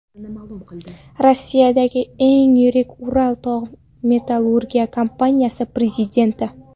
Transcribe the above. Rossiyadagi eng yirik Ural tog‘-metallurgiya kompaniyasi prezidenti.